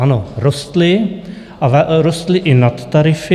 Ano, rostly, a rostly i nadtarify.